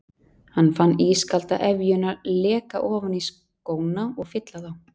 Hann fann ískalda efjuna leka ofan í skóna og fylla þá.